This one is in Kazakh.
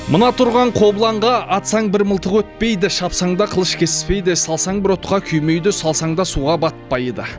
мына тұрған қобыланға атсаң бір мылтық өтпейді шапсаң да қылыш кеспейді салсаң бір отқа күймейді салсаң да суға батпайды